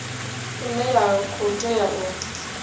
ine ya khou tea u